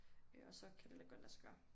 Øh og så kan det lade godt lade sig gøre